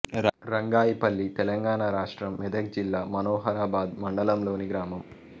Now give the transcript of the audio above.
రంగాయిపల్లి తెలంగాణ రాష్ట్రం మెదక్ జిల్లా మనోహరాబాద్ మండలంలోని గ్రామం